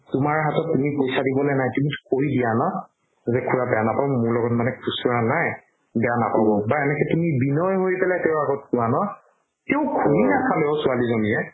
তুমাৰ হাতত তুমি পইচা দিবলে নাই তুমি কই দিয়া ন যে খুৰা বেয়া নাপাব মোৰ লগত মানে খুচুৰা নাই বেয়া নাপাব বা এনেকে তুমি বিনয় হৈ পেলাই তেওৰ আগত কুৱা ন তেও ঘুৰি নাচালে ঔ ছোৱালি জনিয়ে